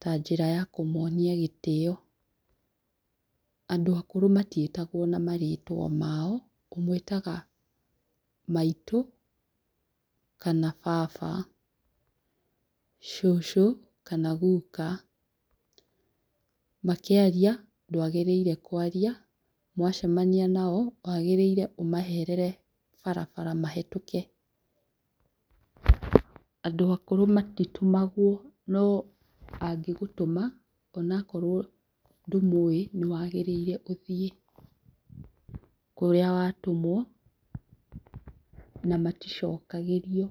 ta njĩra ya kũmonia gĩtĩo, andũ akũrũ matiĩtagwo na marĩtwa mao, ũmwĩtaga maitũ kana baba, cũcũ kana guka, makĩaria ndwagĩrĩirwo kwaria mwacemania nao wagĩrĩire ũmeherere barabara mahetũke, andũ akũrũ matitũmagwo no angĩgũtũma ona akorwo ndũmũĩ nĩ wagĩrĩire ũthiĩ kũrĩa watũmwo na maticokagĩrio.